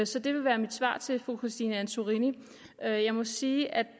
så det vil være mit svar til fru christine antorini jeg må sige at